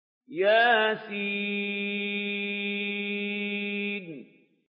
يس